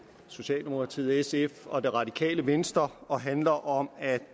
socialdemokratiet sf og det radikale venstre og handler om at